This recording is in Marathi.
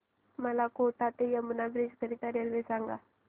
मला कोटा ते यमुना ब्रिज करीता रेल्वे सांगा